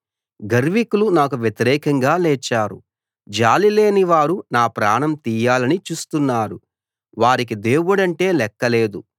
గర్వికులు నాకు వ్యతిరేకంగా లేచారు జాలిలేని వారు నా ప్రాణం తీయాలని చూస్తున్నారు వారికి దేవుడంటే లెక్కలేదు